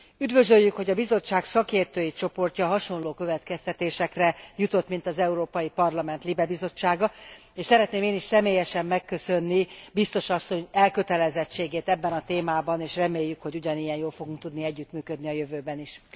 Üdvözöljük, hogy a Bizottság szakértői csoportja hasonló következtetésre jutott, mint az Európai Parlament LIBE bizottsága, és szeretném én is személyesen megköszönni Biztos Asszony elkötelezettségét ebben a témában, és reméljük, hogy ugyanilyen jól fogunk tudni együttműködni a jövőben is.